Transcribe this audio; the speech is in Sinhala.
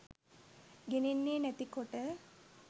ගෙනෙන්නේ නැති කොට.